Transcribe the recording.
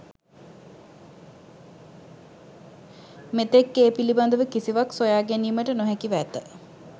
මෙතෙක් ඒ පිළිබඳව කිසිවක් සොයාගැනීමට නොහැකිව ඇත.